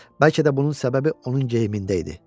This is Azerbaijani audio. Bəlkə də bunun səbəbi onun geyimində idi.